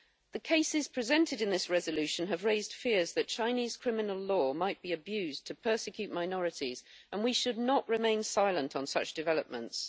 The cases presented in this resolution have raised fears that Chinese criminal law might be abused to persecute minorities, and we should not remain silent on such developments.